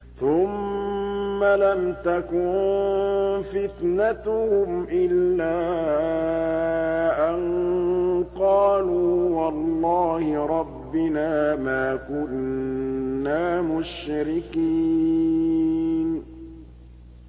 ثُمَّ لَمْ تَكُن فِتْنَتُهُمْ إِلَّا أَن قَالُوا وَاللَّهِ رَبِّنَا مَا كُنَّا مُشْرِكِينَ